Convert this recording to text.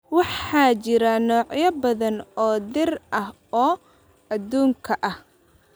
Waxaa jira noocyo badan oo dhir ah oo adduunka ah.